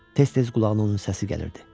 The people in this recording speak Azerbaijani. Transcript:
Tez-tez qulağına onun səsi gəlirdi.